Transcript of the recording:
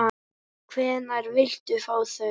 Hvenær viltu fá þau?